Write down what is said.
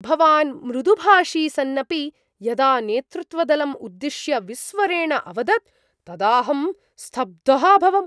भवान् मृदुभाषी सन्नपि यदा नेतृत्वदलम् उद्दिश्य विस्वरेण अवदत् तदाहं स्तब्धः अभवम्।